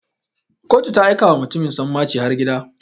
Kotu ta aika wa mutumin sanmaci har gida.